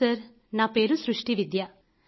hello sir నా పేరు సృష్టి విద్య